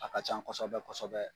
A ka can kɔsɔbɛ kɔsɔɔbɛ.